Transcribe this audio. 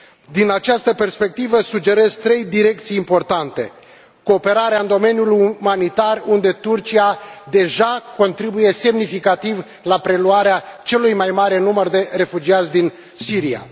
Din această perspectivă, sugerez trei direcții importante 1 cooperarea în domeniul umanitar, unde Turcia deja contribuie semnificativ la preluarea celui mai mare număr de refugiați din Siria